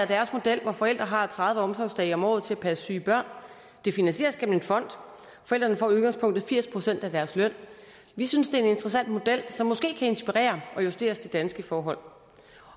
deres model hvor forældre har tredive omsorgsdage om året til at passe syge børn det finansieres gennem en fond forældrene får i udgangspunktet firs procent af deres løn vi synes det er en interessant model som måske kan inspirere og justeres til danske forhold